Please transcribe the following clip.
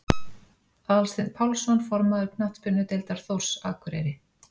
Aðalsteinn Pálsson formaður Knattspyrnudeildar Þórs Akureyri